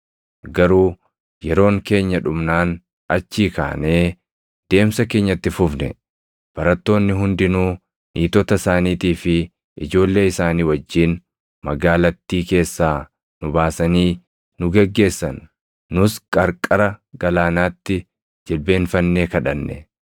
Garuu yeroon keenya dhumnaan achii kaanee deemsa keenya itti fufne; barattoonni hundinuu niitota isaaniitii fi ijoollee isaanii wajjin magaalattii keessaa nu baasanii nu geggeessan; nus qarqara galaanaatti jilbeenfannee kadhanne.